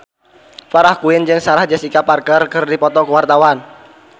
Farah Quinn jeung Sarah Jessica Parker keur dipoto ku wartawan